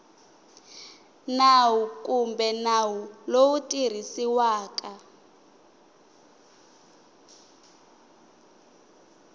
nawu kumbe nawu lowu tirhisiwaka